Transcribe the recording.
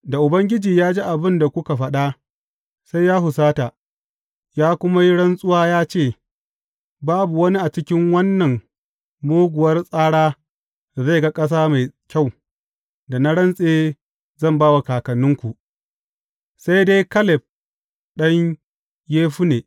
Da Ubangiji ya ji abin da kuka faɗa, sai ya husata, ya kuma yi rantsuwa ya ce, Babu wani a cikin wannan muguwar tsara da zai ga ƙasa mai kyau da na rantse zan ba wa kakanninku, sai dai Kaleb ɗan Yefunne.